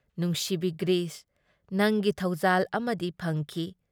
ꯅꯨꯡꯁꯤꯕꯤ ꯒ꯭꯭ꯔꯤꯁ, ꯅꯪꯒꯤ ꯊꯧꯖꯥꯜ ꯑꯃꯗꯤ ꯐꯪꯈꯤ ꯫